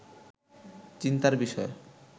চিন্তার বিষয়